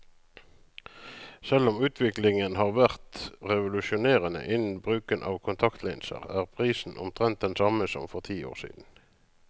Selv om utviklingen har vært revolusjonerende innen bruken av kontaktlinser, er prisen omtrent den samme som for ti år siden.